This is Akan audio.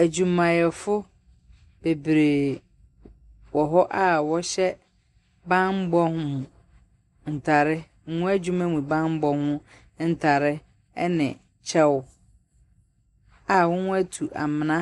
Adwumayɛfo bebree wɔ hɔ a wɔhyɛ bammɔ ho ntare, wɔn adwuma mu bammɔ ho ntare ne kyɛw a wɔatu amena